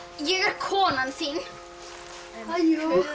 ég er konan þín ha jú